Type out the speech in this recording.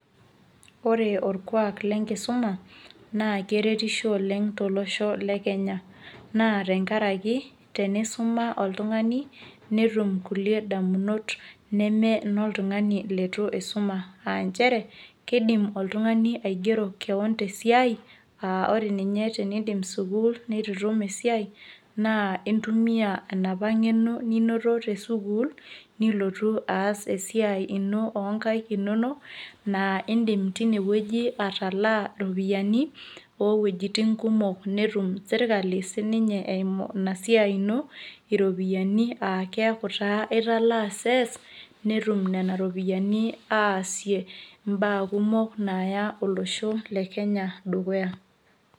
ore orkuak le nkisuma naa keretisho oleng tolos le kenya. naa tenkaraki, tenisuma oltungani netum kulie damunot neme iloltungani leitu suma.aa nchere, keidim oltungani aigero koon tesiai, ore ninye tenidip sukuul, neitu itum esiai naa intumia, enapa ngeno ninoto te sukul, nilotu aas esiai ino oonkaik inonok. naa idim teine wueji atalaa iropiyiani oo wuejitin kumok netum serkali sii ninye eimu ina siai ino iropiyiani, keeku taa italaa sees netum nena ropiyiani aasie ibaa kummok naaya olosho le kenya dukuya.